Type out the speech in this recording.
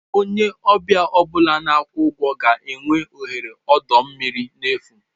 Onye ọbịa ọ bụla na-akwụ ụgwọ ga-enwe ohere ọdọ mmiri n'efu.